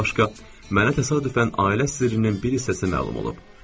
Bundan başqa, mənə təsadüfən ailə sirrinin bir hissəsi məlum olub.